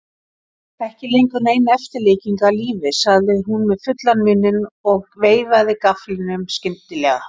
Ekki lengur nein eftirlíking af lífi, sagði hún með fullan munninn og veifaði gafflinum skyndilega.